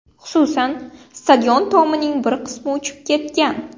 Xususan, stadion tomining bir qismini uchib ketgan.